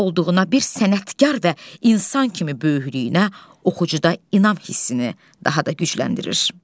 olduğuna bir sənətkar və insan kimi böyüklüyünə oxucuda inam hissini daha da gücləndirir.